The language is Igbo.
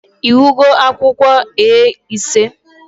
Ị hụgo akwụkwọ A5?